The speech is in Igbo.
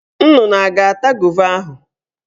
Nnụnụ a ga-ata gova ahụ?